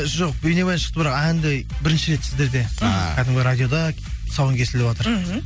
жоқ бейнебаян шықты бірақ әнді бірінші рет сіздерде а кәдімгі радиода тұсауын кесіліватыр мхм